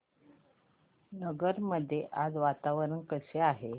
नगर मध्ये आज वातावरण कसे आहे